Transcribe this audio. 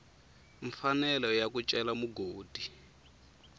mfanelo ya ku cela mugodi